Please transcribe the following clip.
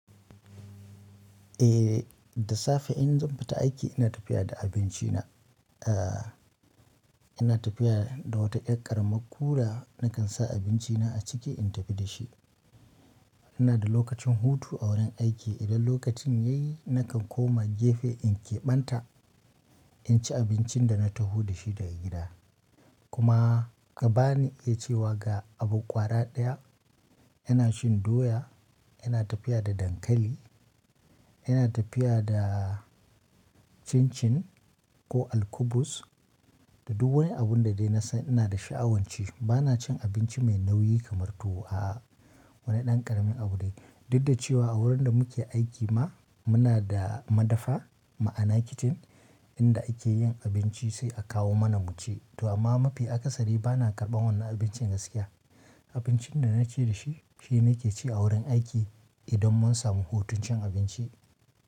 Eh da safe in zan fita aiki ina tafiya da abinci na, eh ina tafiya da wata ɗan yar ƙaramar cooler nakan sa abinci na a ciki in tafi da shi. Ina da lokacin hutu a wurin aiki idan lokacin yayi nakan koma gefe in keɓanta in ci abincin da na taho da shi daga gida. Kuma ka bani iya cewa ga abu ƙwara ɗaya ina cin doya, ina tafiya da dankali, ina tafiya da cin cin ko alkubus da duk wani abun da dai na san ina da sha'awan ci. Ba na cin abinci mai nauyi kamar tuwo a'a wani ɗan ƙaramin abu dai. Duk da cewa a wurin da muke aiki ma muna da madafa ma'ana kicin inda ake yin abinci sai a kawo mana mu ci. To amma mafi akasari ba na karɓan wannan abincin gaskiya. Abincin da na je da shi shine nake ci a wurin aiki idan mun samu hutun cin abinci.